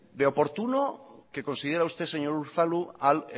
de oportuno que considera usted señor unzalu al